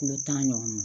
Kulo tan ɲɔgɔn ma